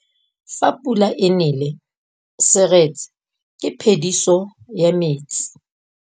Fa pula e nelê serêtsê ke phêdisô ya metsi.